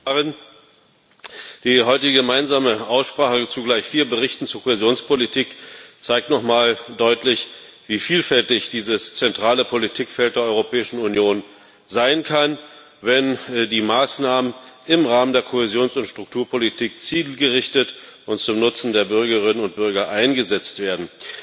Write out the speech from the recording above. Herr Präsident! Frau Kommissarin, die heutige gemeinsame Aussprache zu gleich vier Berichten zur Kohäsionspolitik zeigt nochmal deutlich, wie vielfältig dieses zentrale Politikfeld der Europäischen Union sein kann, wenn die Maßnahmen im Rahmen der Kohäsions und Strukturpolitik zielgerichtet und zum Nutzen der Bürgerinnen und Bürger eingesetzt werden.